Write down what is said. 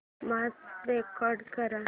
match record कर